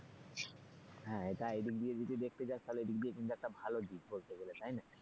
হ্যাঁ এটা, এদিক দিয়ে যদি দেখতে চাস তাহলে ও দিক দিয়ে কিন্তু একটা ভালো দিক বলতে গেলে তাই না,